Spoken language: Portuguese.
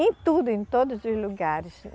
em tudo, em todos os lugares.